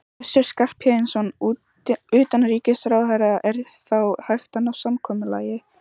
Össur Skarphéðinsson, utanríkisráðherra: Er þá hægt að ná samkomulagi?